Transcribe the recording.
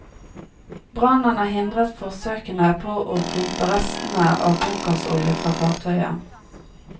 Brannen har hindret forsøkene på å pumpe restene av bunkersolje fra fartøyet.